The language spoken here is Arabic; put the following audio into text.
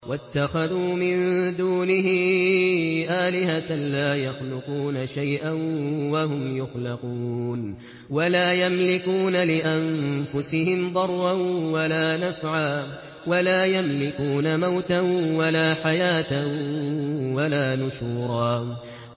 وَاتَّخَذُوا مِن دُونِهِ آلِهَةً لَّا يَخْلُقُونَ شَيْئًا وَهُمْ يُخْلَقُونَ وَلَا يَمْلِكُونَ لِأَنفُسِهِمْ ضَرًّا وَلَا نَفْعًا وَلَا يَمْلِكُونَ مَوْتًا وَلَا حَيَاةً وَلَا نُشُورًا